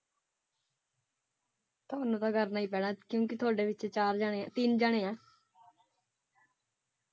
ਤੁਹਾਨੂੰ ਤਾ ਕਰਨਾ ਹੀ ਪੈਣਾ ਹੈ ਕਿਉਂਕਿ ਤੁਹਾਡੇ ਵਿੱਚ ਚਾਰ ਜਾਣੇ ਹੈ ਤਿਨ ਜਾਣੇ ਹੈ।